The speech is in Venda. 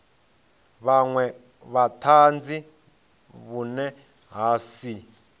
vhunwe vhutanzi vhune ha si